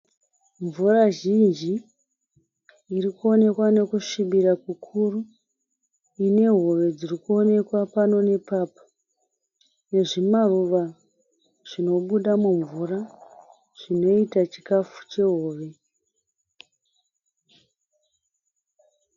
Mvura zhinji irikuonekwa nekusvibira kukuru. Ine hove dziri kuonekwa pano nepapo. Nezvimaruva zvinobuda mumvura zvinoita chikafu chehove.